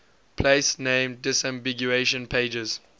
place name disambiguation pages